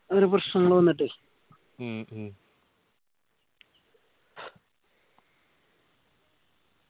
ഒരു പ്രശ്നങ്ങൾ വന്നിട്ടേ ഉം ഉം